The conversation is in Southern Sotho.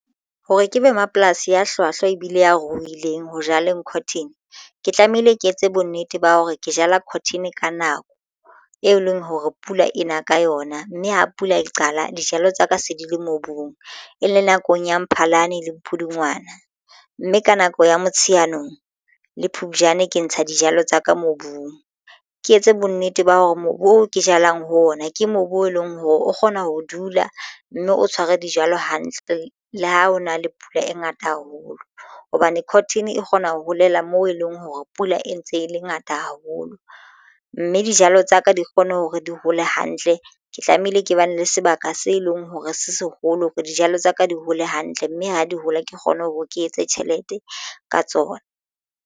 Hore ke be mapolasi a hlwahlwa ebile ya ruileng ho jaleng cotton ke tlamehile ke etse bonnete ba hore ke jala cotton ka nako e leng hore pula ena ka yona mme ha pula e qala dijalo tsa ka se di le mobung e le nakong ya Mphalane le Pudungwana mme ka nako ya Motsheanong le Phupjane ke ntsha dijalo tsa ka mobung. Ke etse bonnete ba hore mobu o ke jalang ho ona ke mobu o leng hore o kgona ho dula mme o tshware dijalo hantle. Le ha ho na le pula e ngata haholo hobane cotton e kgona ho holela moo e leng hore pula e ntse e le ngata haholo mme dijalo tsa ka di kgone hore di hole hantle ke tlamehile ke bane le sebaka se leng hore se seholo hore dijalo tsa ka di hole hantle mme ha di hole ke kgone hore ke etse tjhelete ka tsona.